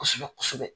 Kosɛbɛ kosɛbɛ